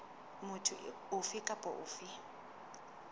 motho ofe kapa ofe a